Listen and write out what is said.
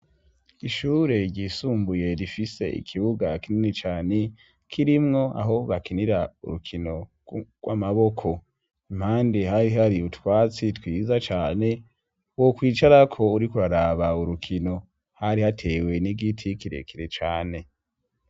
Ishure ryisumbuye rifise ikibuga kinini cane kirimwo aho bakinira urukino rw' amaboko impandi hari hari utwatsi twiza cane wo kwicarako uri kuraraba urukino hari hatewe n'igiti kirekire cane.